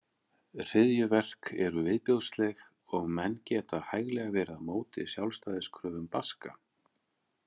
Hryðjuverk eru viðbjóðsleg og menn geta hæglega verið á móti sjálfstæðiskröfum Baska.